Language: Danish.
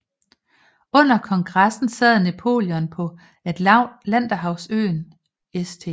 Under kongressen sad Napoleon på Atlanterhavsøen St